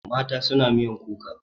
Mata suna miyan kuka.